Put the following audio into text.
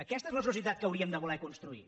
aquesta és la societat que hauríem de voler construir